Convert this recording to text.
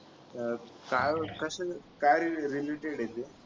अह काल कशाला का railway ने गेले होते